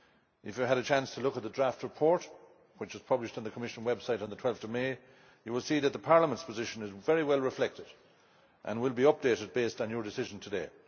If you have had a chance to look at the draft report which was published on the Commission website on 12 May, you will see that Parliament's position is very well reflected and will be updated based on your decision today.